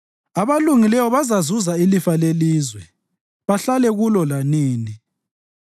abalungileyo bazazuza ilifa lelizwe bahlale kulo lanini.